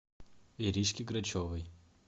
иришке грачевой